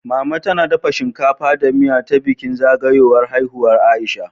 Mama tana dafa shinkafa da miya ta bikin zagayowar haihuwar Aisha